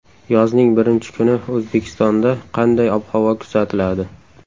Yozning birinchi kuni O‘zbekistonda qanday ob-havo kuzatiladi?.